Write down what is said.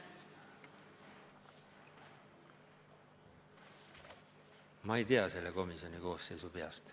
Ma ei tea selle komisjoni koosseisu peast.